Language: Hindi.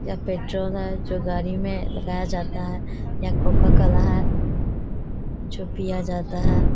यह पेट्रोल है जो गाड़ी में लगाया जाता है। यह कोका-कोला है जो पिया जाता है।